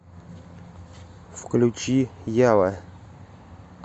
включи ява